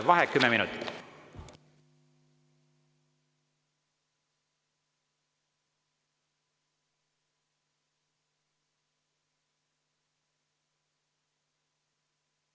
Vaheaeg kümme minutit.